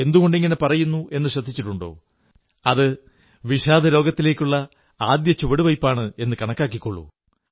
എന്തുകൊണ്ടിങ്ങനെ പറയുന്നു എന്നു ശ്രദ്ധിച്ചിട്ടുണ്ടോ അത് വിഷാദരോഗത്തിലേക്കുള്ള ആദ്യത്തെ ചുവടുവയ്പ്പാണെന്നു കണക്കാക്കിക്കോളൂ